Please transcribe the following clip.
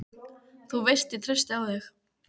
Þú veist ég treysti á þig.